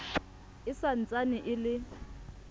e sa ntsane e le